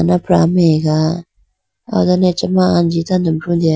anapra amega aw dane achama anji tando brutene.